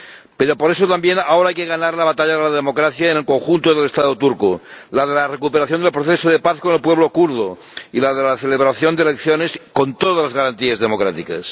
Pero, por eso también, ahora hay que ganar la batalla de la democracia en el conjunto del Estado turco, la de la recuperación del proceso de paz con el pueblo kurdo y la de la celebración de elecciones con todas las garantías democráticas.